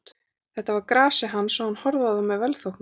Þetta var grasið hans og hann horfði á það með velþóknun.